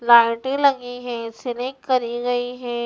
लाइटें लगी हैं सीलिंग करी गई है।